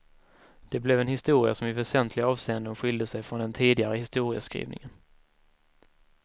Det blev en historia som i väsentliga avseenden skilde sig från den tidigare historieskrivningen.